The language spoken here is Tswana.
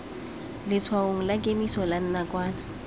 letshwaong la kemiso la nakwana